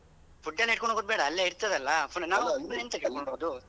ಫುಡ್ಡೆಲ್ಲ ಇಟ್ಕೊಂಡು ಹೋಗುದುಬೇಡ ಅಲ್ಲೇ ಇರ್ತ್ತದೆ ಅಲ್ಲಾ ಪುನಃ ಎಂತಕ್ಕೆ .